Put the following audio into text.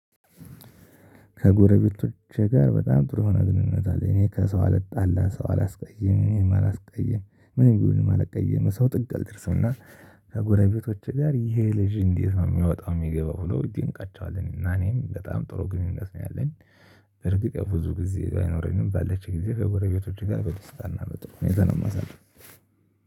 ከጎረቤቶቼ ጋር በጣም ጥሩ ሆነ ግንኙነት አለ። እኔ ከሰው አልጣላም ሰው አላስቀይም እኔም አልቀየምም ምንም ቢሆን ማለት ቀየም ሰው ጥግ አልደርስም። እና ከጎረቤቶቼ ጋር ይሄ ልጅ እንዴት ነው የሚያወጣው? የሚገባው ብሎ ይገኛቸዋል እና እኔም በጣም ጥሩ ግንኙነት ነው ያለኝ። በርግጥ የብዙ ጊዜ ባይኖረኝም ባለች ጊዜ ወደ ቤተሰብ ጋር በደስታ እናመጣው እኔ ዛሬ ነው የማሳልፈው።